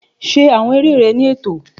Ṣe awọn eré rẹ ni ẹtọ!